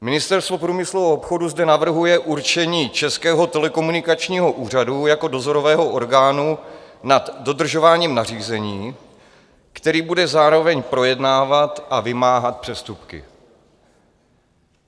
Ministerstvo průmyslu a obchodu zde navrhuje určení Českého telekomunikačního úřadu jako dozorového orgánu nad dodržováním nařízení, který bude zároveň projednávat a vymáhat přestupky.